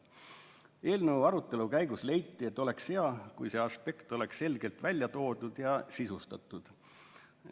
Eelnõu arutelu käigus leiti, et oleks hea, kui see aspekt oleks selgelt välja toodud ja sisustatud.